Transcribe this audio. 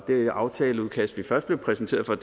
det aftaleudkast vi først blev præsenteret for